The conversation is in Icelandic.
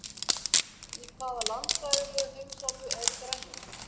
Í hvaða landfræðilegu heimsálfu er Grænland?